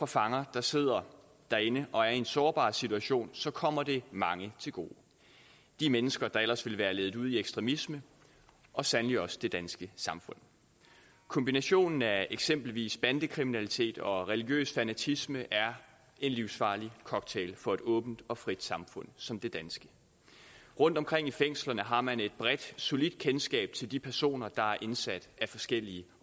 fanger der sidder derinde og er i en sårbar situation så kommer det mange til gode de mennesker der ellers ville være ledt ud i ekstremisme og sandelig også det danske samfund kombinationen af eksempelvis bandekriminalitet og religiøs fanatisme er en livsfarlig cocktail for et åbent og frit samfund som det danske rundtomkring i fængslerne har man et bredt solidt kendskab til de personer der er indsat af forskellige